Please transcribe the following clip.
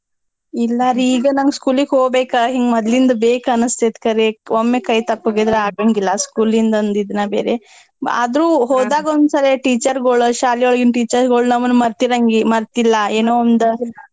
ಇಲ್ಲಾರಿ ಈಗ ನಮ್ಗ್ school ಗ್ ಹೋಗ್ಬೇಕ ಹಿಂಗ್ ಮೊದ್ಲಿಂದ್ ಬೇಕ್ ಅನ್ನಿಸ್ತೇತ್ ಖರೇ ಒಮ್ಮೆ ಕೈ ತಪ್ ಹೋಗಿದ್ರೆ ಆಗಂಗಿಲ್ಲಾ school ಇಂದ ಒಂದ್ ಇದುನ ಬೇರೆ ಆದ್ರೂ ಹೋದಾಗೊಂದ್ಸರೆ teacher ಗೊಳ್ ಶಾಲಿ ಒಳಗಿನ್ teacher ಗೊಳ್ ನಮ್ನ ಮರ್ತಿರಂಗಿ~ ಮರ್ತಿಲ್ಲಾ ಏನೋ ಒಂದ್.